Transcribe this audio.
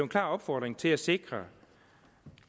klar opfordring til at sikre